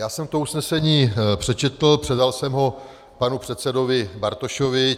Já jsem to usnesení přečetl, předal jsem ho panu předsedovi Bartošovi.